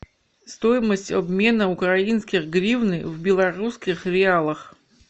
стоимость обмена украинской гривны в белорусских реалах